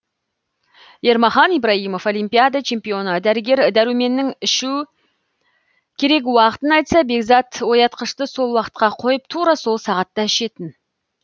ермахан ибраимов олимпиада чемпионы дәрігер дәруменнің ішу керек уақытын айтса бекзат оятқышты сол уақытқа қойып тура сол сағатта ішетін